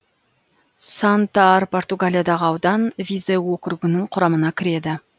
сантар португалиядағы аудан визеу округінің құрамына кіреді